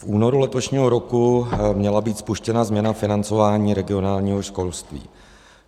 V únoru letošního roku měla být spuštěna změna financování regionálního školství.